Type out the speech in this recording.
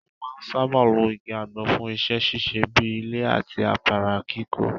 Wọn máa ń sáábà lo igi àgbọn fún iṣẹ́ ṣíṣe bíi ilé àti afárá kíkọ́.